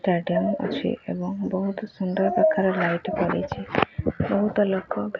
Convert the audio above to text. ବହୁତ ସୁନ୍ଦର ପ୍ରକାର ଲାଇଟ୍ ପଡିଛି ବହୁତ ଲୋକ --